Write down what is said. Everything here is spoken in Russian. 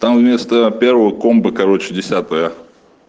там вместо первого комбы короче десятая